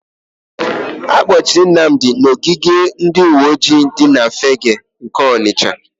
Akpọchiri Nnamdị n'ogige ndịuweojii dị na Fegge nke Ọnịsha.